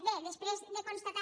bé després de constatar